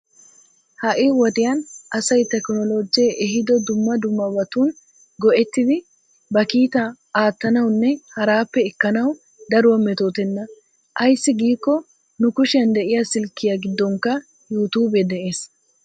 Ha"i wodiyan asayi tekinoloojjee ehido dumma dummabatun go'ettidi ba kiitaa aattanawunne haraappe ekkanawu daruwa metootenna. Ayssi giikko nu kushiyan de'iya silkkiya giddonkka yuutuube de'ees.